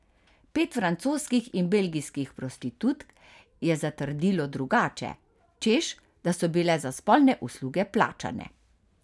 Pet francoskih in belgijskih prostitutk je zatrdilo drugače, češ, da so bile za spolne usluge plačane.